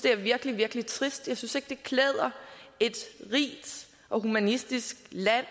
er virkelig virkelig trist jeg synes ikke det klæder et rigt og humanistisk land